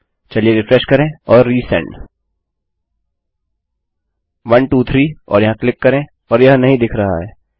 चलिए रिफ्रेश करें और रिसेंड 123 यहाँ क्लिक करें और यह नहीं दिख रहा है